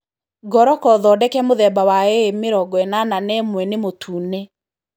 Ngoroco thondeke mũthemba wa A81 nĩ mũtune.